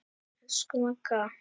Elsku Magga.